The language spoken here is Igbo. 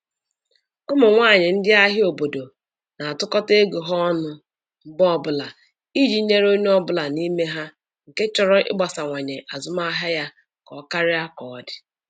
Ụmụ nwaanyị ndi ahịa obodo na-atụkọta ego ha ọnụ mgbe ọbụla iji nyere onye ọ bụla n'ime ha nke chọrọ ịgbasawanye azụmahịa ya ka ọ karịa otu ọ dị.